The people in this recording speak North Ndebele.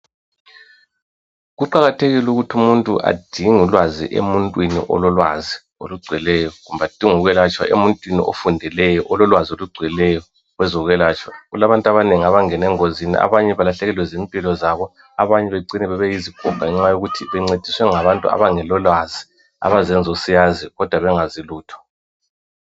kuqakathekile ukuthi umuntu adinge ulwazi emuntwini ololwazi olugcweleyo kumbe adinge ukwelatshwa emuntwini ofundileyo ololwazi olugcweleyo kwezokwelatshwa kulabantu abanengi abangene engozini abanye balahlekelwe zimpilo bani zonalezo abanye becine bebe yizigoga ngenxa yokuthi bencediswe ngabantu abangelalwazi abazenza o siyazi kodwa bengakwazi lutho